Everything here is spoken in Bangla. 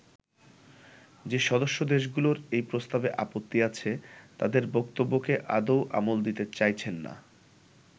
যে সদস্য দেশগুলোর এই প্রস্তাবে আপত্তি আছে তাদের বক্তব্যকে আদৌ আমল দিতে চাইছেন না।